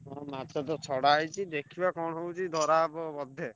ହଁ ମାଛ ତ ଛଡା ହେଇଛି ଦେଖିବା କଣ ହଉଛି ଧରା ହବ ବୋଧେ।